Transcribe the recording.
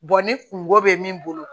ni kungo bɛ min bolo